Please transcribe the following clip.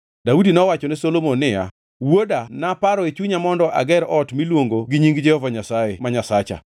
Daudi nowachone Solomon niya, “Wuoda naparo e chunya mondo ager ot miluongo gi Nying Jehova Nyasaye, ma Nyasacha.